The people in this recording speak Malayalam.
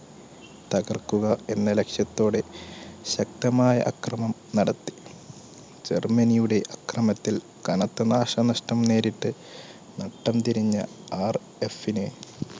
തകർക്കുക എന്ന ലക്ഷ്യത്തോടെ ശക്തമായ അക്രമണം നടത്തി. ജർമ്മനിയുടെ അക്രമത്തിൽ കനത്ത നാശനഷ്ടം നേരിട്ട് നട്ടം തിരിഞ്ഞ RAF ന്